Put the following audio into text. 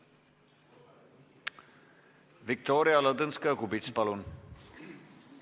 Viktoria Ladõnskaja-Kubits, palun!